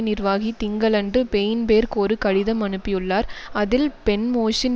நிர்வாகி திங்களன்று பெயின்பேர்க் ஒரு கடிதம் அனுப்பியுள்ளார் அதில் பென்மோஷின்